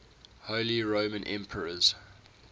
holy roman emperors